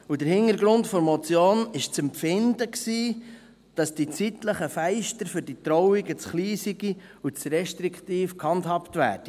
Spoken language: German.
Der Hintergrund der Motion war das Empfinden, dass die zeitlichen Fenster für die Trauungen zu klein seien und zu restriktiv gehandhabt würden.